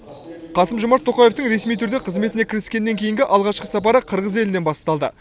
қасым жомарт тоқаевтың ресми түрде қызметіне кіріскеннен кейінгі алғашқы сапары қырғыз елінен басталды